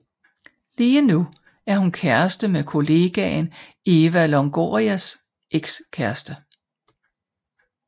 Lige nu er hun kæreste med kollegaen Eva Longorias ekskæreste